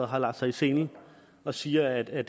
har lagt sig i selen og siger at at